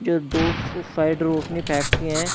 ये दो सो साइड रोशनी ने फैकती है।